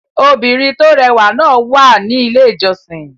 Obìnrin tó rẹwà náà wà ní Ilé-ìjọsìn.